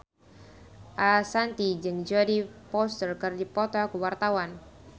Ashanti jeung Jodie Foster keur dipoto ku wartawan